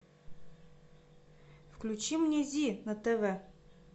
включи мне зи на тв